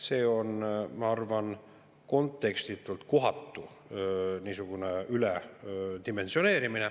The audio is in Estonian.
See on, ma arvan, kontekstitult kohatu üledimensioneerimine.